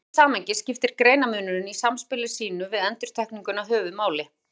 Í því samhengi skiptir greinarmunurinn í samspili sínu við endurtekninguna höfuðmáli.